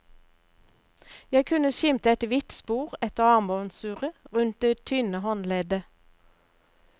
Jeg kunne skimte et hvitt spor etter armbåndsuret rundt det tynne håndleddet.